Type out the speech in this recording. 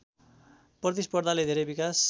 प्रतिस्पर्धाले धेरै विकास